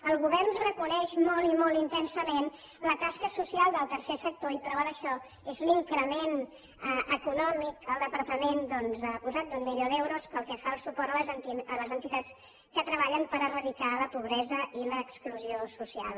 el govern reconeix molt i molt intensament la tasca social del tercer sector i prova d’això és l’increment econòmic que el departament doncs ha posat d’un milió d’euros pel que fa a les entitats que treballen per eradicar la pobresa i l’exclusió social